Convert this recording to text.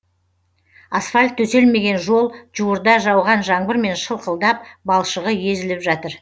асфальт төселмеген жол жуырда жауған жаңбырмен шылқылдап балшығы езіліп жатыр